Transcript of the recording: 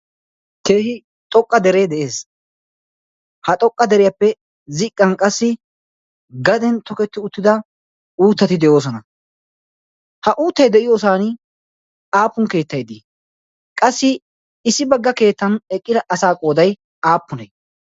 keehi xoqqa deree de'ees. ha xoqqa deriyaappe ziqqan qassi gaden toketti uttida uuttati de'oosona. ha uuttai de'iyoosan aapun keettai dii qassi issi bagga keettan eqqida asaa qoodai aappunee?